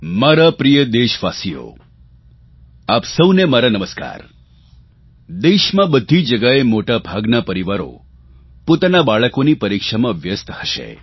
મારા પ્રિય દેશવાસીઓ આપ સહુને મારા નમસ્કાર દેશમાં બધી જગ્યાએ મોટા ભાગના પરિવારો પોતાના બાળકોની પરીક્ષામાં વ્યસ્ત હશે